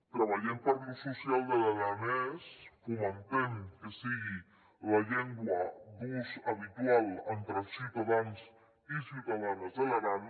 treballem per l’ús social de l’aranès fomentem que sigui la llengua d’ús habitual entre els ciutadans i ciutadanes de l’aran